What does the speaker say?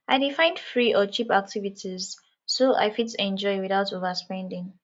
i dey find free or cheap activities so i fit enjoy without overspending